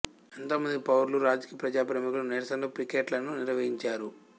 ఎంతోమంది పౌరులు రాజకీయ ప్రజా ప్రముఖులు నిరసనలు పికెట్లను నిర్వహించారు